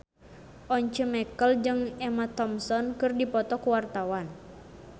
Once Mekel jeung Emma Thompson keur dipoto ku wartawan